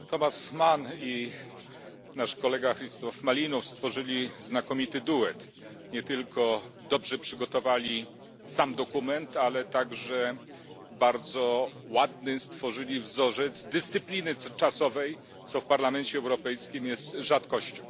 Thomas Mann i nasz kolega Hristov Malinov stworzyli znakomity duet. Nie tylko dobrze przygotowali sam dokument, ale także stworzyli doskonały wzorzec dyscypliny czasowej, co w Parlamencie Europejskim jest rzadkością.